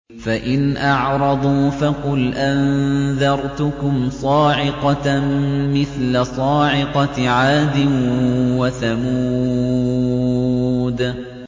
فَإِنْ أَعْرَضُوا فَقُلْ أَنذَرْتُكُمْ صَاعِقَةً مِّثْلَ صَاعِقَةِ عَادٍ وَثَمُودَ